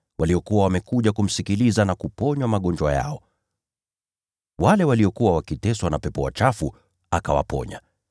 Walikuwa wamekuja kumsikiliza na kuponywa magonjwa yao. Wale waliokuwa wakiteswa na pepo wachafu akawaponya.